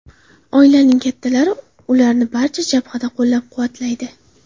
Oilaning kattalari ularni barcha jabhada qo‘llab-quvvatlaydi.